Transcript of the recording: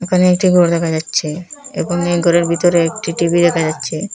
এখানে একটি ঘর দেখা যাচ্ছে এবং এই ঘরের ভিতরে একটি টি_ভি দেখা যাচ্ছে।